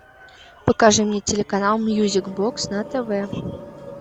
покажи мне телеканал мьюзик бокс на тв